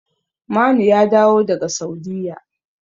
Manu ya dawo daga Saudiyya.